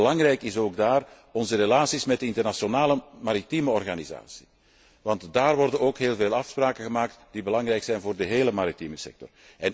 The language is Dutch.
Belangrijk zijn ook daar onze relaties met de internationale maritieme organisatie, want daar worden immers heel veel afspraken gemaakt die belangrijk zijn voor de hele maritieme sector.